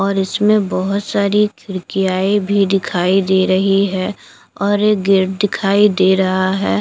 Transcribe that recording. और इसमें बहोत सारी खिड़कियाँए भी दिखाई दे रही हैं और एक गेट दिखाई दे रहा है।